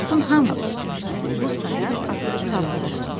Oxusun hamı bu sayaq kitabları.